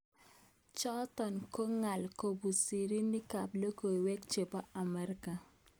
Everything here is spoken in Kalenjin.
Chotok ko ngal kobun sirik ab lokoiwek chebo Amerika.